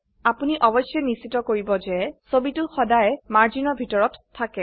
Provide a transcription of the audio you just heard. আপোনি অবশ্যই নিশ্চিত কিৰিব যে ছবিটো সদায়ে মাৰ্জিনৰ ভিতৰত থাকে